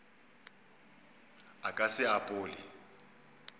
a ka se e apole